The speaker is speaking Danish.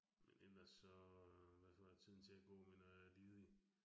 Men ellers så hvad får jeg tiden til at gå med, når jeg er ledig